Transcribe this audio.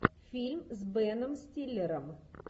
фильм с беном стиллером